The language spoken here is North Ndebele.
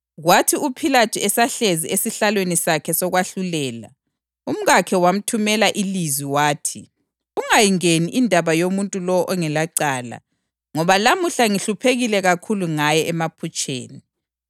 Kwathi uPhilathu esahlezi esihlalweni sakhe sokwahlulela, umkakhe wamthumela ilizwi wathi: “Ungayingeni indaba yomuntu lowo ongelacala, ngoba lamuhla ngihluphekile kakhulu ngaye emaphutsheni.”